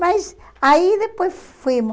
Mas aí depois fomos.